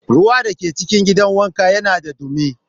Ruwan da ke cikin gidan wanka yana da dumi.